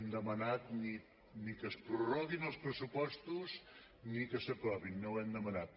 sí per almanat ni que es prorroguin els pressupostos ni que s’aprovin no ho hem demanat